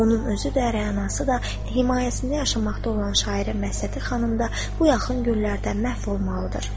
Onun özü də, rəyanası da, himayəsində yaşamaqda olan şairə Məsdəti xanım da bu yaxın günlərdə məhv olmalıdır.